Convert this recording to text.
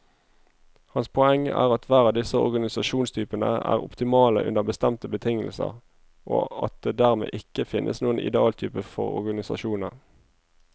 Hans poeng er at hver av disse organisasjonstypene er optimale under bestemte betingelser, og at det dermed ikke finnes noen idealtype for organisasjoner.